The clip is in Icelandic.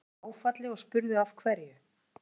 Allir voru í áfalli og spurðu af hverju.